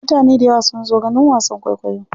Mutane dayawa sun zo ganin wasan kwaikwayo.